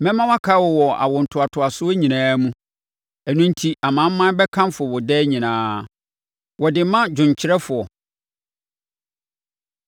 Mɛma wɔakae wo wɔ awontoatoasoɔ nyinaa mu; ɛno enti amanaman bɛkamfo wo daa nyinaa. Wɔde ma dwomkyerɛfoɔ.